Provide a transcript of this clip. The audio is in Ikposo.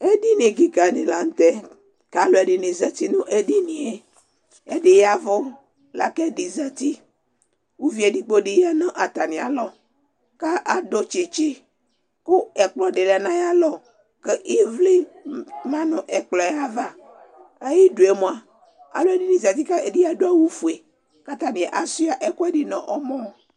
Edini kɩka dɩ la nʋ tɛ kʋ alʋɛdɩnɩ zati nʋ edini yɛ Ɛdɩ ya ɛvʋ la kʋ ɛdɩ zati Uvi edigbo dɩ ya nʋ atamɩalɔ kʋ adʋ tsetse kʋ ɛkplɔ dɩ la nʋ ayalɔ kʋ ɩvlɩ ma nʋ ɛkplɔ yɛ ava, ayidu yɛ mʋa, alʋɛdɩnɩ zati kʋ ɛdɩnɩ adʋ awʋfue kʋ ata bɩ asʋɩa ɛkʋɛdɩ nʋ ɔmɔ